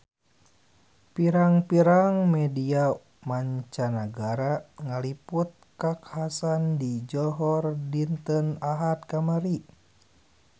Pirang-pirang media mancanagara ngaliput kakhasan di Johor dinten Ahad kamari